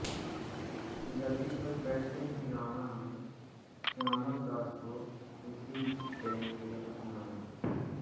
गद्दी पर बैठते ही राणा ने श्यामलदास को उसी प्रेम से अपनाया